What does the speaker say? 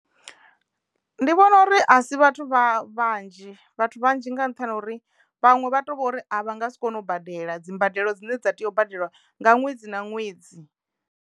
Ndi vhona uri a si vhathu vha vhanzhi vhathu vhanzhi nga nṱhani ho uri vhanwe vha to vhori a vha nga si kone u badela dzi mbadelo dzine dza teyo u badelwa nga ṅwedzi na ṅwedzi.